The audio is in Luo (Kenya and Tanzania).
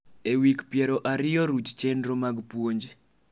e wik piero ariyo ruch chenro mag puonj